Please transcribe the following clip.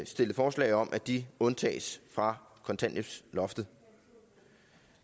stillet forslag om at de undtages fra kontanthjælpsloftet